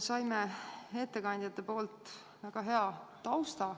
Saime ettekandjatelt väga hea tausta.